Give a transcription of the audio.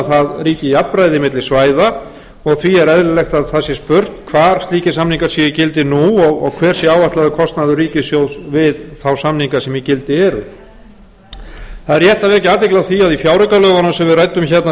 það ríki jafnræði á milli svæða og því er eðlilegt að það sé spurt hvar slíkir samningar séu í gildi nú og hver sé áætlaður kostnaður ríkissjóðs við þá samninga sem í gildi eru það er rétt að vekja athygli á því að í fjáraukalögunum sem við ræddum hérna